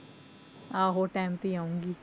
ਆਹੋ time ਤੇ ਹੀ ਆਊਂਗੀ।